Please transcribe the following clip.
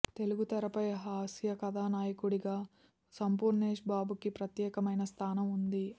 తెలుగు తెరపై హాస్యకథానాయకుడిగా సంపూర్ణేశ్ బాబుకి ప్రత్యేకమైన స్థానం వుంది